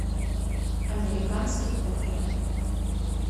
американский бургер